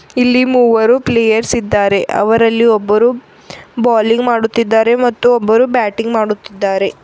ಇಲ್ಲಿ ಮೂವರು ಪ್ಲೇಯರ್ಸ್ ಇದ್ದಾರೆ ಅವರಲ್ಲಿ ಒಬ್ಬರು ಬೋಲಿಂಗ್ ಮಾಡುತ್ತಿದ್ದಾರೆ ಮತ್ತು ಒಬ್ಬರು ಬ್ಯಾಟಿಂಗ್ ಮಾಡುತ್ತಿದ್ದಾರೆ.